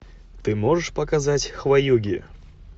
ты можешь показать хваюги